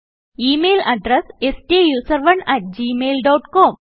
email address സ്റ്റൂസറോണ് at Gmail dot com